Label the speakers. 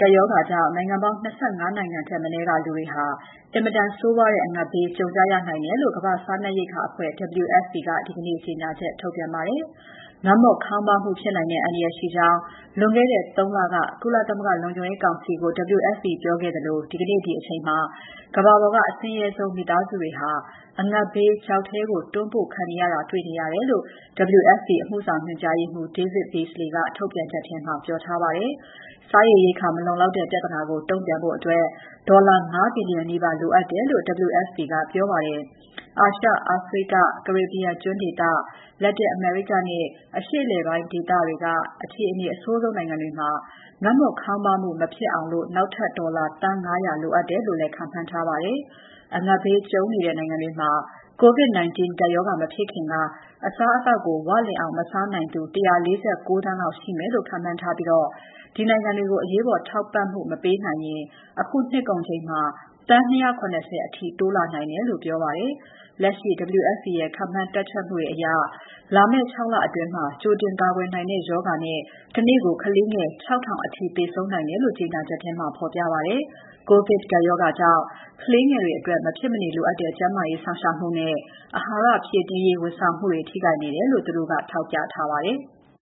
Speaker 1: ကပ်ရောဂါကြောင့် နိုင်ငံပေါင်း ၂၅ နိုင်ငံထက်မနည်းက လူတွေဟာ အင်မတန်ဆိုးဝါးတဲ့ အငတ်ဘေး ကြုံကြရနိုင်တယ်လို့ ကမ္ဘာ့စားနပ်ရိက္ခာအဖွဲ့ WFP က ဒီနေ့ ကြေညာချက်ထုတ်ပြန်ပါတယ်။ ငတ်မွတ်ခေါင်းပါးမှုဖြစ်နိုင်တဲ့ အန္တရာယ်ရှိကြောင်း လွန်ခဲ့တဲ့ ၃ လက ကုလသမဂ္ဂလုံခြုံရေးကောင်စီကို WFP ကပြောခဲ့သလို ဒီကနေ့ ဒီအချိန်မှာ ကမ္ဘာပေါ်က အဆင်းရဲဆုံးမိသားစုတွေဟာ အငတ်ဘေးချောက်ထဲကို တွန်းပို့ခံနေရတာ တွေ့နေရတယ်လို့ WFP အမှုဆောင်ညွှန်ကြားရေးမှူး David Beasley က ထုတ်ပြန်ချက်ထဲမှာ ပြောထားပါတယ်။ စားရေရိက္ခာမလုံလောက်တဲ့ ပြဿနာကို တုန့်ပြန်ဖို့ ဒေါ်လာ ၅ ဘီလီယံ နီးပါး လိုအပ်တယ်လို့ WFP ကပြောပါတယ်။ အာရှ၊ အာဖရိက၊ ကာရစ်ဘီယံကျွန်းဒေသ၊ လက်တင်အမေရိကနဲ့ အရှေ့အလယ်ပိုင်းဒေသတွေက အခြေအနေအဆိုးဆုံးနိုင်ငံတွေမှာ ငတ်မွတ်ခေါင်းပါးမှုမဖြစ်အောင် နောက်ထပ် ဒေါ်လာ သန်း ၅၀၀ လိုအပ်တယ်လို့လည်း ခန့်မှန်းထားပါတယ်။ အငတ်ဘေးကြုံနေတဲ့နိုင်ငံတွေမှာ COVID-19 ကပ်ရောဂါ မဖြစ်ခင်က အစားအသောက်ကို ဝလင်အောင် မစားနိုင်သူ ၁၄၉ သန်းလောက်ရှိမယ်လို့ ခန့်မှန်းထားပြီး ဒီနိုင်ငံတွေကိုအရေးပေါ် ထောက်ပံ့မပေးနိုင်ရင် အခုနှစ်ကုန်ချိန်မှာ သန်း ၂၇၀ အထိ တိုးလာနိုင်တယ်လို့လည်း ပြောပါတယ်။ လက်ရှိ WFP ရဲ့ ခန့်မှန်းတွက်ချက်မှုတွေအရ လာမယ့် ၆ လအတွင်း ကြိုတင်ကာကွယ်နိုင်တဲ့ ရောဂါတွေနဲ့ တနေ့ကို ကလေးငယ် ၆,၀၀၀ အထိ သေဆုံးနိုင်တယ်လို့ ကြေညာချက်မှာ ဖော်ပြပါတယ်။ ကိုဗစ်ကပ်ရောဂါကြောင့် ကလေးငယ်တွေအတွက် မဖြစ်မနေလိုအပ်တဲ့ ကျန်းမာရေးစောင့်ရှောက်မှုနဲ့ အဟာရဖြည့်တင်းရေး ဝန်ဆောင်မှုတွေ ထိခိုက်နေတာကို သူတို့က ထောက်ပြထားပါတယ်။